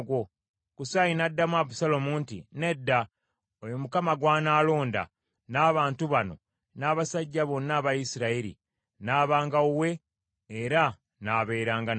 Kusaayi n’addamu Abusaalomu nti, “Nedda. Oyo Mukama gw’anaalonda, n’abantu bano, n’abasajja bonna aba Isirayiri, n’abanga wuwe era n’abeeranga naye.